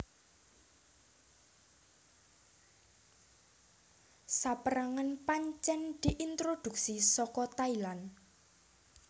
Sapérangan pancèn diintroduksi saka Thailand